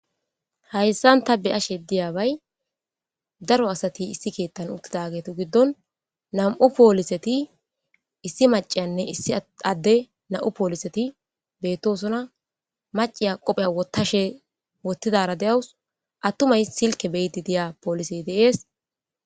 Haysa ta deyeshe diyabay daro asati issi ketha uttidagetu gidon nam'u poliseti issi maciyanne issi ade nam'u poliseti betosona maciya qope wothidara de'awus atumay Silke be'idi diya polisey de'es